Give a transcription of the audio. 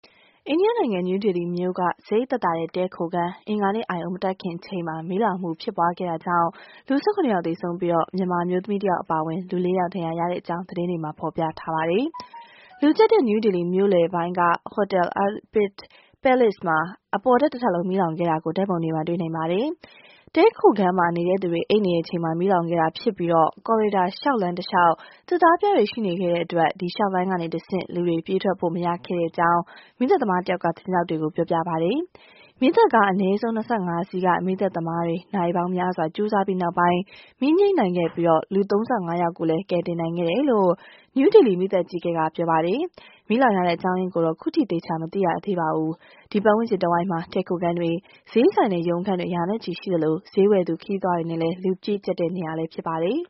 အိန္ဒိယနိုင်ငံ နယူးဒေလီမြို့က စရိတ်သက်သာတဲ့ တည်းခိုခန်း အင်္ဂါနေ့အာရုံမတက်မီအချိန်မှာ မီးလောင်မှုအတွင်း လူ ၁၇ ယောက်သေဆုံးပြီး မြန်မာအမျိုးသမီး ၁ ဦးအပါအဝင် လူ ၄ ယောက် ဒဏ်ရာရတဲ့အကြောင်း သတင်းတွေမှာ ဖော်ပြထားပါတယ်။ လူကျပ်တဲ့ နယူးဒေလီမြို့လယ်ပိုင်းက Hotel Arpit Palace မှာ အပေါ်ထပ်တထပ်လုံး မီးလောင်ခဲ့တာကို ဓာတ်ပုံတွေမှာ တွေ့နိုင်ပါတယ်။ တည်းခိုခန်းမှာ နေတဲ့သူတွေ အိပ်နေတဲ့အချိန်မှာ မီးလောင်ခဲ့တာဖြစ်ပြီး ကော်ရေဒါ လျှောက်လမ်းတလျှောက် သစ်သားပြားတွေရှိနေတဲ့အတွက် လျှောက်လမ်းကတဆင့် လူတွေ ပြေးထွက်လို့ မရခဲ့တဲ့အကြောင်း မီးသတ်သမားတယောက်က သတင်းထောက်တွေကို ပြောပြပါတယ်။ မီးသတ်ကား အနည်းဆုံး ၂၅ စီးက မီးသတ်သမားတွေ နာရီပေါင်းများစွာ ကြိုးစားပြီးနောက်ပိုင်း မီးငြှိမ်းနိုင်ခဲ့ပြီး လူ ၃၅ ယောက်ကိုလည်း ကယ်တင်နိုင်ခဲ့တယ်လို့ နယူးဒေလီ မီးသတ်အကြီးအကဲက ပြောပါတယ်။ မီးလောင်ရတဲ့အကြောင်းရင်းကိုတော့ အခုထိ မသိရသေးပါဘူး။ ဒီပတ်ဝန်းကျင်တဝိုက်မှာ တည်းခိုခန်းတွေ၊ ဈေးဆိုင်နဲ့ ရုံးခန်းတွေ ရာနဲ့ချီရှိသလို ဈေးဝယ်သူ ခရီးသွားတွေနဲ့ လူကျပ်တဲ့နေရာလည်း ဖြစ်ပါတယ်